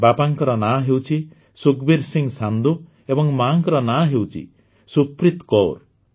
ବାପାଙ୍କ ନାଁ ହେଉଛି ସୁଖବୀର ସିଂ ସାନ୍ଧୁ ଏବଂ ମାଆଙ୍କ ନାଁ ହେଉଛି ସୁପ୍ରିତ କୌର